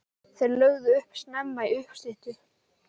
Þeir lögðu upp snemma í uppstyttu.